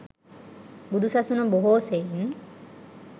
බුදු සසුන බොහෝ සෙයින්